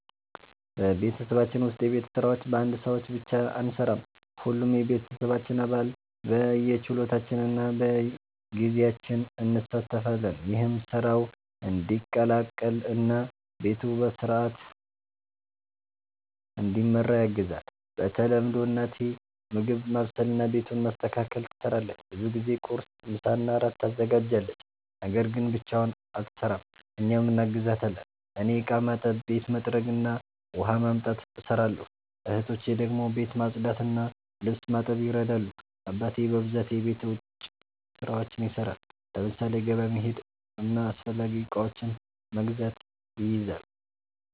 በቤተሰባችን ውስጥ የቤት ስራዎች በአንድ ሰው ብቻ አንሠራም። ሁሉም የቤተሰባችን አባል በየችሎታችን እና በጊዜያችን እንሣተፋለን። ይህም ስራው እንዲቀላቀል እና ቤቱ በሥርዓት እንዲመራ ያግዛል። በተለምዶ እናቴ ምግብ ማብሰልና ቤቱን ማስተካከል ትሰራለች። ብዙ ጊዜ ቁርስ፣ ምሳና እራት ታዘጋጃለች። ነገር ግን ብቻዋን አትሰራም፤ እኛም እናግዛታለን። እኔ እቃ ማጠብ፣ ቤት መጥረግ እና ውሃ ማምጣት እሰራለሁ። እህቶቼ ደግሞ ቤት ማጽዳትና ልብስ ማጠብ ይረዳሉ። አባቴ በብዛት የቤት ውጭ ስራዎችን ይሰራል፤ ለምሳሌ ገበያ መሄድና አስፈላጊ እቃዎችን መግዛት ይይዛል።